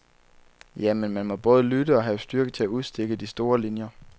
Ja, men man må både lytte og have styrke til at udstikke de store linjer.